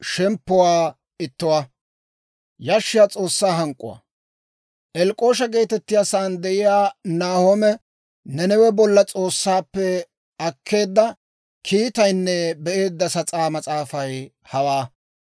Elk'k'oosha geetettiyaa saan de'iyaa Nahoome Nanawe bolla S'oossaappe akkeedda kiitaynne be'eedda sas'aa mas'aafay hawaa.